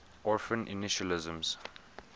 orphan initialisms